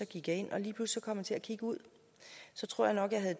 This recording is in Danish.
gik jeg ind og lige pludselig kom jeg til at kigge ud jeg tror nok at